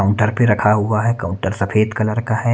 Counter भी रखा हुआ हे काउंटर सफ़ेद कलर का हैं।